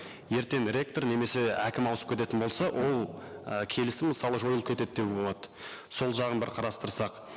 ертең ректор немесе әкім ауысып кететін болса ол і келісім мысалы жойылып кетеді деуге болады сол жағын бір қарастырсақ